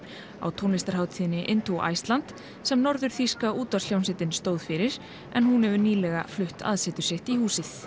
á tónlistarhátíðinni Iceland sem norður þýska útvarpshljómsveitin stóð fyrir en hún hefur nýlega flutt aðsetur sitt í húsið